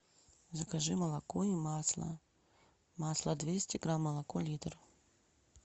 закажи молоко и масло масло двести грамм молоко литр